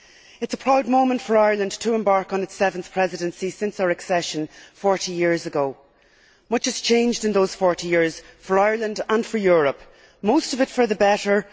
It is a proud moment for Ireland to embark on its seventh Presidency since our accession 40 years ago. Much has changed in those 40 years for Ireland and for Europe, most of it for the better.